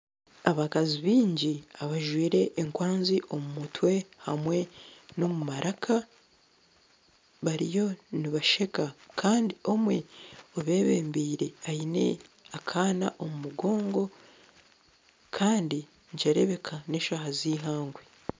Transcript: Abakazi baingi abajwire enkwanzi omu mutwe hamwe n'omu maraka bariyo nibasheka kandi omwe obebembire aine akaana omu mugogo kandi nikireebeka n'eshaaha z'eihangwe